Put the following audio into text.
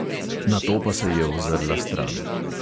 Nato pa se je ozrla stran.